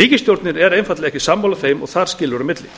ríkisstjórnin er einfaldlega ekki sammála þeim og þar skilur á milli